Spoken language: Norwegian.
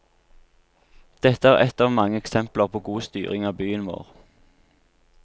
Dette er ett av mange eksempler på god styring av byen vår.